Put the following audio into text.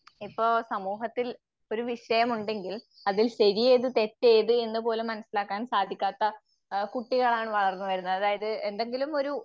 ഇപ്പോ സമൂഹത്തിൽ ഒരു വിഷയമുണ്ടെങ്കിൽ അതിൽ ശരിയേത് തെറ്റേത് എന്ന് പോലും മനസ്സിലാക്കാൻ സാധിക്കാത്ത ആഹ് കുട്ടികളാണ് വളർന്നുവരുന്നത്